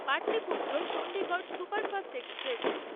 Pataliputra Chandigarh superfast express